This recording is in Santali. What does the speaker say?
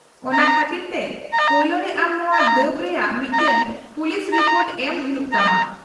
-ᱚᱱᱟ ᱠᱷᱟᱹᱛᱤᱨ ᱛᱮ ᱯᱳᱭᱞᱳ ᱨᱮ ᱟᱢ ᱱᱚᱶᱟ ᱫᱟᱹᱵᱽ ᱨᱮᱭᱟᱜ ᱢᱤᱫᱴᱟᱝ ᱯᱩᱞᱤᱥ ᱨᱤᱯᱳᱴ ᱮᱢ ᱦᱩᱭᱩᱜ ᱛᱟᱢᱟ ᱾